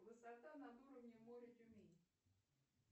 высота над уровнем моря тюмень